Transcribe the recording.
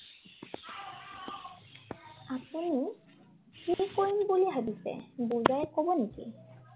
আপুনি কি কৰিম বুলি ভাবিছে বুজাই কব নেকি?